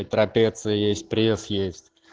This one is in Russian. и трапеция есть пресс есть